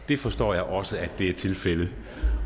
det forstår jeg også er tilfældet